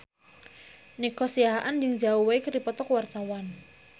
Nico Siahaan jeung Zhao Wei keur dipoto ku wartawan